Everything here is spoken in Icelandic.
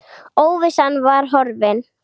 Óvissan var horfin.